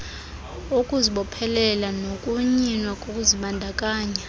ukuzibophelela nokunyinwa kokuzibandakanya